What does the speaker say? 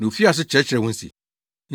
Na ofii ase kyerɛkyerɛɛ wɔn se,